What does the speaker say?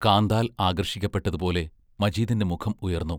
കാന്താൽ ആകർഷിക്കപ്പെട്ടതുപോലെ മജീദിന്റെ മുഖം ഉയർന്നു.